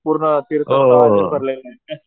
पूर्ण तीर्थस्थळांनी भरलाय